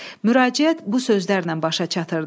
Müraciət bu sözlərlə başa çatırdı.